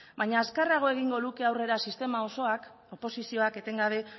baina azkarrago egingo luke aurrera sistema osoak oposizioak etengabe